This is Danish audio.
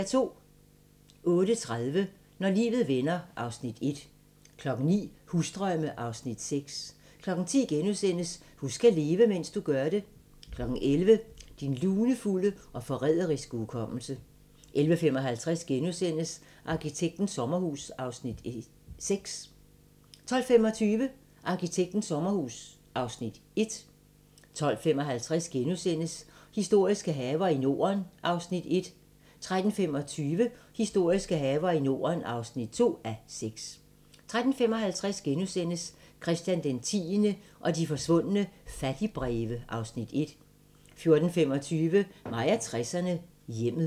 08:30: Når livet vender (Afs. 1) 09:00: Husdrømme (Afs. 6) 10:00: Husk at leve, mens du gør det * 11:00: Din lunefulde og forræderiske hukommelse 11:55: Arkitektens sommerhus (Afs. 6)* 12:25: Arkitektens sommerhus (Afs. 1) 12:55: Historiske haver i Norden (1:6)* 13:25: Historiske haver i Norden (2:6) 13:55: Christian X og de forsvundne fattigbreve (Afs. 1)* 14:25: Mig og 60'erne: Hjemmet